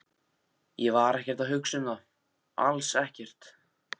Ég var ekkert að hugsa um það, alls ekkert.